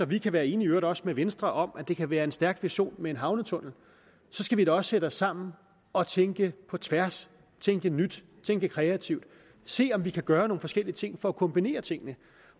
vi kan være enige også med venstre om at det kan være en stærk vision med en havnetunnel så skal vi da også sætte os sammen og tænke på tværs tænke nyt tænke kreativt og se om vi kan gøre nogle forskellige ting for at kombinere tingene